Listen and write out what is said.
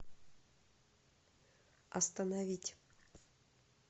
остановить